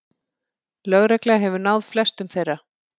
Lögregla hefur náð flestum þeirra